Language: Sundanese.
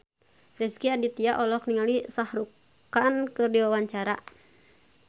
Rezky Aditya olohok ningali Shah Rukh Khan keur diwawancara